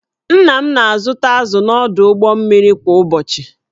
Nna m na-azụta azụ̀ n’ọdụ ụgbọ mmiri kwa ụbọchị